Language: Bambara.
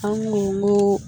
An kun n ko